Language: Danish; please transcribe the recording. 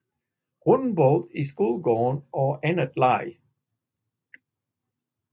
Rundbold i skolegården og anden leg